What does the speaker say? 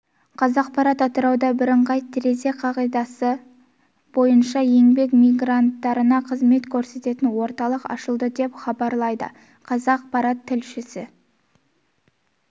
қазақпарат атырауда бірыңғай терезе қағидасы бойынша еңбек мигранттарына қызмет көрсететін орталық ашылды деп хабарлайды қазақпарат тілшісі